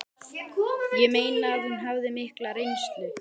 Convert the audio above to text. Ég meina að hún hafði mikla reynslu